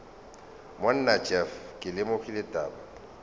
monna jeff ke lemogile taba